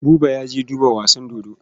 Buba ya je duba wasan dodo.